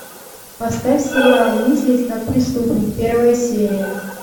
поставь сериал мыслить как преступник первая серия